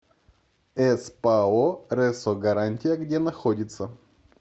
спао ресо гарантия где находится